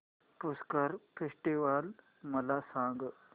Pushkar festival मला सांग